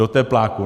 Do tepláků.